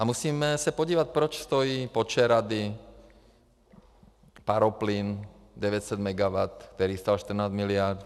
A musíme se podívat, proč stojí Počerady, paroplyn 900 megawattů, který stál 14 miliard.